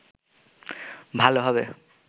ভালো হবে